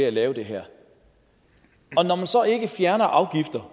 at lave det her og når man så ikke fjerner afgifter